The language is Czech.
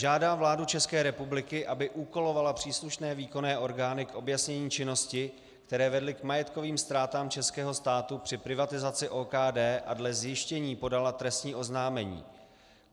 Žádá vládu České republiky, aby úkolovala příslušné výkonné orgány k objasnění činnosti, které vedly k majetkovým ztrátám českého státu při privatizaci OKD, a dle zjištění podala trestní oznámení.